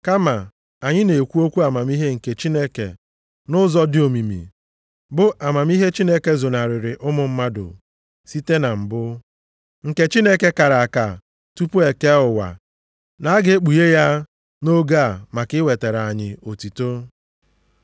Kama anyị na-ekwu okwu amamihe nke Chineke nʼụzọ dị omimi, bụ amamihe Chineke zonarịrị ụmụ mmadụ site na mbụ, nke Chineke kara aka tupu e kee ụwa na a ga-ekpughe ya nʼoge a maka iwetara anyị otuto.